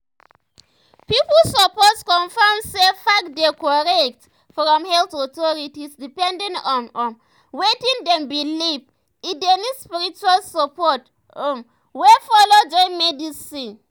pipu suppose confirm say facts dey korrect from health authorities depending on um wetin dem believe e dey need spiritual support um wey follow join medicine. um